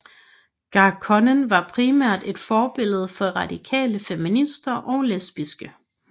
Garçonnen var primært et forbillede for radikale feminister og lesbiske